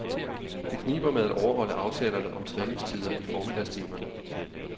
Det kniber med at overholde aftalerne om træningstider i formiddagstimerne.